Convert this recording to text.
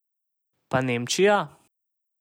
Pa Nemčija?